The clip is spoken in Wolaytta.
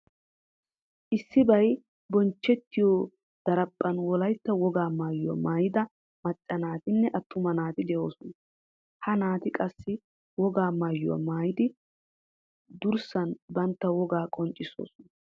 Issibay bonchchettiyo daraphphan Wolaytta wogaa maayuwa maayida macca naatinne attuma naati de'oosona. Ha naati qassi wogaa maayuwa maayidi durissan bantta wogaa qonccissoosona.